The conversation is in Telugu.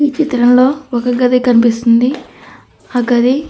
ఈ చిత్రంలో ఒక గది కనిపిస్తూ ఉంది. ఆ గది --